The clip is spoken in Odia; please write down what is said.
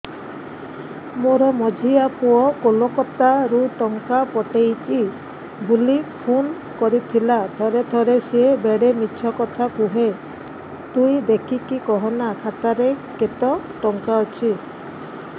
ମୋର ମଝିଆ ପୁଅ କୋଲକତା ରୁ ଟଙ୍କା ପଠେଇଚି ବୁଲି ଫୁନ କରିଥିଲା ଥରେ ଥରେ ସିଏ ବେଡେ ମିଛ କଥା କୁହେ ତୁଇ ଦେଖିକି କହନା ଖାତାରେ କେତ ଟଙ୍କା ଅଛି